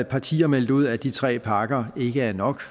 partier meldt ud at de tre parker ikke er nok